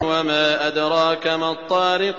وَمَا أَدْرَاكَ مَا الطَّارِقُ